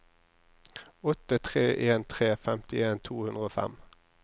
åtte tre en tre femtien to hundre og fem